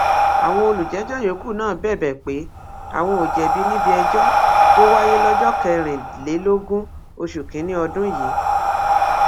àwọn olùjẹjọ yòókù náà bẹbẹ pé àwọn ò jẹbi níbi ìjẹjọ tó wáyé lọjọ kẹrìnlélógún oṣù kínínní ọdún yìí